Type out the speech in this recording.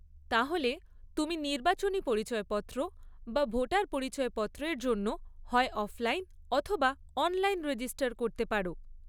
তাহলে, তুমি নির্বাচনী পরিচয়পত্র বা ভোটার পরিচয়পত্রের জন্য হয় অফলাইন অথবা অনলাইন রেজিস্টার করতে পারো।